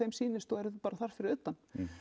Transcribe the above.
sýnist og eru bara þar fyrir utan